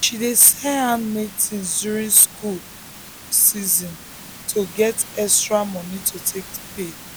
she dey sell handmade things during school fee season to get extra money to take pay